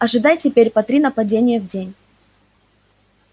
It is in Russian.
ожидай теперь по три нападения в день